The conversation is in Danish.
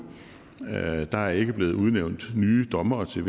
der er ikke blevet udnævnt nye dommere til